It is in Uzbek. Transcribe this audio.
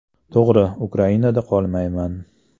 To‘g‘ri, Ukrainada qolmayman.